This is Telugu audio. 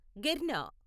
గిర్న